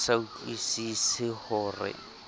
a sa utlwusise ho re